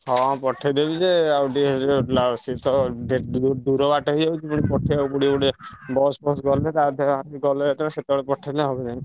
ହଁ ପଠେଇଦେବି ଯେ ଆଉ ଟିକେ ଯୋଉ ସେ ତ delivery ଦୂର ବାଟ ହେଇଯାଉଛି ପୁଣି ପଠେଇଆକୁ ପଡିବ ଗୋଟେ bus ଫସ୍ ଗଲେ ତା ଧିଅରେ ଗଲେ ଯେତବେଳେ ସେତବେଳେ ପଠେଇଲେ ହବ ଯାଇକି।